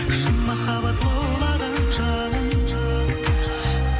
шын махаббат лаулаған жалын